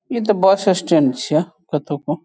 इ ते bus stand छीये कतो को।